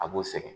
A b'o sɛgɛn